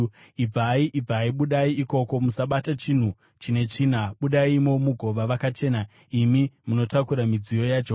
Ibvai, ibvai, budai ikoko! Musabata chinhu chine tsvina! Budaimo mugova vakachena, imi munotakura midziyo yaJehovha.